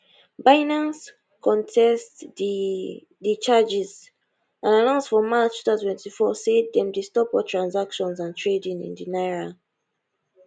binance contest di di charges and announce for march 2024 say dem dey stop all transactions and trading in di naira